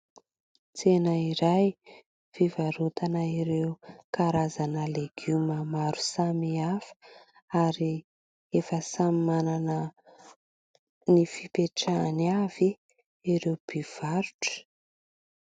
Tsena iray fivarotana ireo karazana legioma maro samihafa ary efa samy manana ny fipetrahany avy ireo mpivarotra.